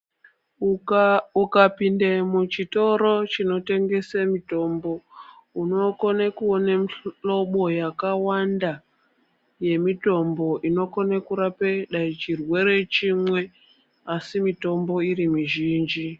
Ukapinda muchitoro chinitengesa mitombo unokona kuona mihlobo yakawanda yemitombo inokona kurapa chirwere chimwe asi mitombo mizhinji.